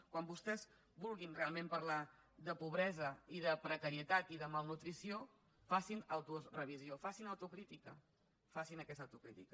quan vostès vulguin realment parlar de pobresa i de precarietat i de malnutrició facin autorevisió facin autocrítica facin aquesta autocrítica